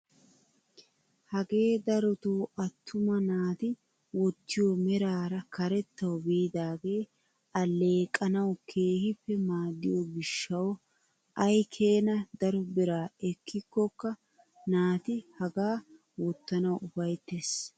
Hagee darotoo attuma naati wottiyoo meraara karettawu biidagee alleqanawu keehippe maaddiyoo giishshawu ayi keena daro biraa ekkikokka naati hagaa wottanawu ufayttees.